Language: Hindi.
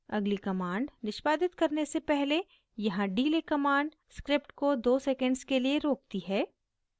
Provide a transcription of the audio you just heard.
अगली command निष्पादित करने से पहले यहाँ delay command script को 2 सेकेंड्स के लिए रोकती है